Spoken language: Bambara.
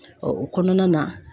o kɔnɔna na